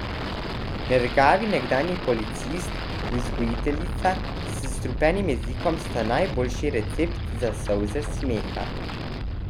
Nergavi nekdanji policist in vzgojiteljica s strupenim jezikom sta najboljši recept za solze smeha.